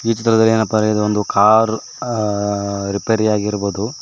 ಈ ಚಿತ್ರದಲ್ ಏನಪ್ಪಾ ಅಂದ್ರೆ ಇದೊಂದು ಕಾರ್ ಆ ರಿಪೇರ್ ಆಗಿರ್ಬೋದು.